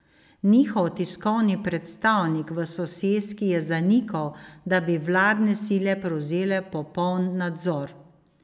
Njihov tiskovni predstavnik v soseski je zanikal, da bi vladne sile prevzele popoln nadzor.